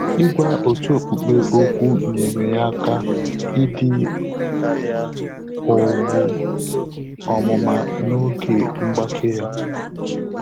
Ị́gwá òtù ókpùkpé ókwú nyèrè yá áká ídí ówú ọ́mụ́má n’ógè mgbàké yá.